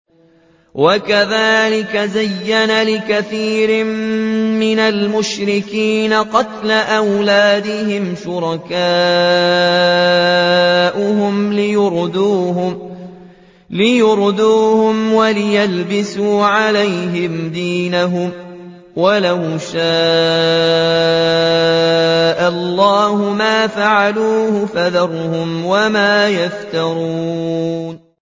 وَكَذَٰلِكَ زَيَّنَ لِكَثِيرٍ مِّنَ الْمُشْرِكِينَ قَتْلَ أَوْلَادِهِمْ شُرَكَاؤُهُمْ لِيُرْدُوهُمْ وَلِيَلْبِسُوا عَلَيْهِمْ دِينَهُمْ ۖ وَلَوْ شَاءَ اللَّهُ مَا فَعَلُوهُ ۖ فَذَرْهُمْ وَمَا يَفْتَرُونَ